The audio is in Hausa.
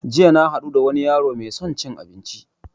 Jiya na haɗu da wani yaro mai son cin abinci